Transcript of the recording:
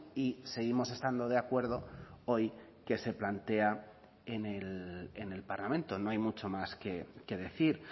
y seguimos estando de acuerdo hoy que se plantea en el parlamento no hay mucho más que decir